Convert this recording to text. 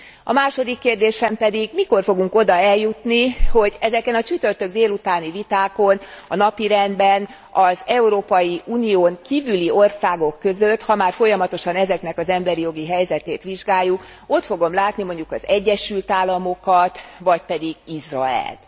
A második kérdésem pedig mikor fogunk oda eljutni, hogy ezeken a csütörtök délutáni vitákon a napirendben az Európai Unión kívüli országok között ha már folyamatosan ezeknek az emberi jogi helyzetét vizsgáljuk ott fogom látni mondjuk az Egyesült Államokat vagy pedig Izraelt.